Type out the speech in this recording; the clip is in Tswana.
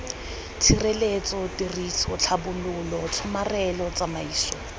tshireletso tiriso tlhabololo tshomarelo tsamaiso